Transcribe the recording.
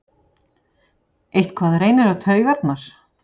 Eitthvað reynir á taugarnar